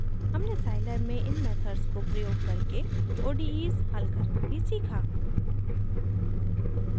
हमने scilab में इन मेथड्स को प्रयोग करके odes हल करना भी सीखा